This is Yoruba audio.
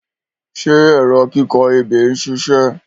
Ṣé ẹ̀rọ kíkọ ebè ń ṣiṣẹ̀?